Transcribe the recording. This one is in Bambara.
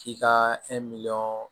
K'i ka